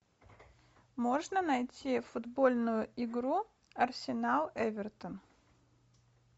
можно найти футбольную игру арсенал эвертон